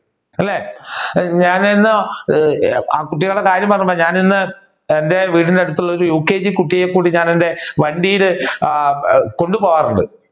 അല്ലെ ഞാൻ ഇന്ന് കുട്ടികളുടെ കാര്യം പറഞ്ഞത്കൊണ്ടാണ് ഞാൻ ഇന്ന് എന്റെ വീടിന് അടുത്ത് ഉള്ള UKG കുട്ടിയെ ഞാൻ എന്റെ വണ്ടിയിൽ കൊണ്ട് പോകാറുണ്ട്